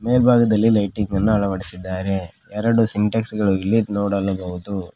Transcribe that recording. ಮೇಲ್ಭಾಗದಲ್ಲಿ ಲೈಟಿಂಗ್ ಅನ್ನು ಅಳವಡಿಸಿದ್ದಾರೆ ಎರಡು ಸಿಂಟ್ಯಾಕ್ಸ್ ಗಳು ಇಲ್ಲಿ ನೋಡಲು ಬಹುದು.